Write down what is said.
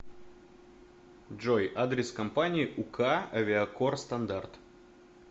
джой адрес компании ук авиакор стандарт